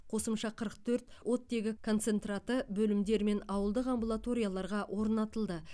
қосымша қырық төрт оттегі концентраты бөлімдер мен ауылдық амбулаторияларға орнатылды